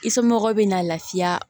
I somɔgɔw bɛ na lafiya